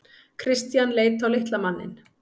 Christian leit á litla manninn.